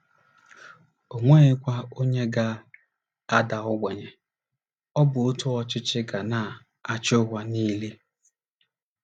O nweghịkwa onye ga - ada ogbenye. Ọ bụ otu ọchịchị ga na - achị ụwa niile.